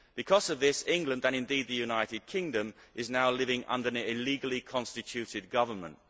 Because of this, England and, indeed, the United Kingdom is now living under an illegally constituted government.